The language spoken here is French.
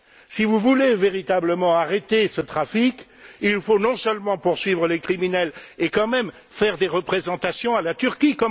Si vous voulez véritablement arrêter ce trafic, il ne faut pas seulement poursuivre les criminels et faire des représentations à la Turquie.